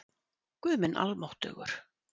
Guð minn almáttugur